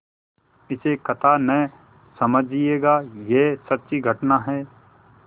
इसे कथा न समझिएगा यह सच्ची घटना है